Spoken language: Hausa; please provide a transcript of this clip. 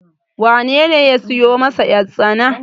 wanene ya siyo masa yartsana?